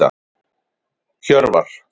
Hjörvar